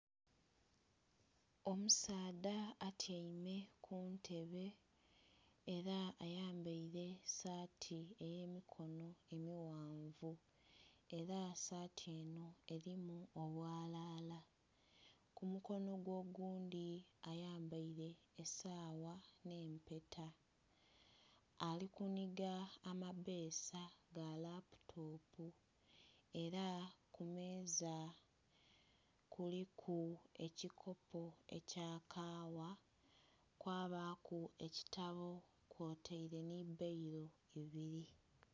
Omusaadha atyaime ku ntebe era ayambaire saati ey'emikono emighanvu, era saati eno erimu obwalala. Ku mukono gwe oghundhi ayambaire esawa n'empeta, ali kuniga amapesa ga laputopu era ku meeza kuliku ekikopo ekya kawa kwabaaku ekitabo, kwotaire ni bbailo ibiri.